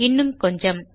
இன்னும் கொஞ்சம்